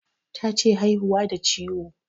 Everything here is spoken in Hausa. Tace haihuwa da ciwo